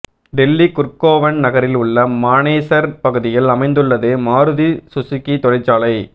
டெல்லி குர்கோவன் நகரில் உள்ள மனேசர் பகுதியில் அமைந்துள்ளது மாருதி சுசுகி தொழிற்சாலை